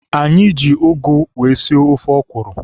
Anyị ji ụgụ wee sie ofe ọkwụrụ.